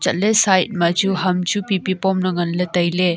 chat ley side ma chu ham pipi pomley ngan ley tailey.